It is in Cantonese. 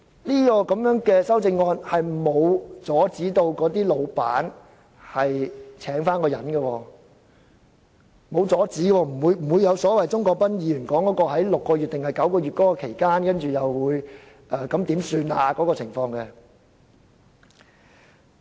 這組修正案並無阻止僱主另聘員工，所以不會如同鍾國斌議員所說，僱主有6個月或9個月不知道如何營運的情況。